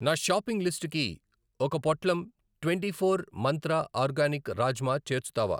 నా షాపింగ్ లిస్టుకి ఒక పొట్లం ట్వెంటీఫోర్ మంత్ర ఆర్గానిక్ రాజ్మా చేర్చుతావా?